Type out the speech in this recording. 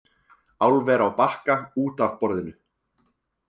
Álver á Bakka út af borðinu